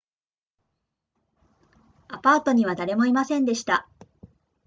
アパートには誰もいませんでした